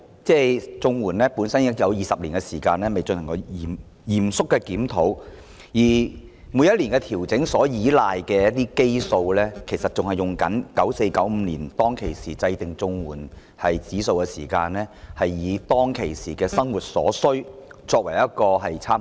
綜援已20年未曾進行嚴肅的檢討，而每年調整金額所依賴的基數，其實仍沿用 1994-1995 年度制訂的社會保障援助物價指數，以當時的生活需要為參考。